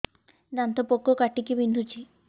ଦାନ୍ତ ପୋକ କାଟିକି ବିନ୍ଧୁଛି